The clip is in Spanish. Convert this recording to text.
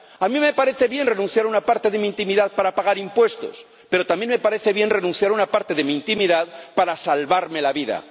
A mí me parece bien renunciar a una parte de mi intimidad para pagar impuestos, pero también me parece bien renunciar a una parte de mi intimidad para salvarme la vida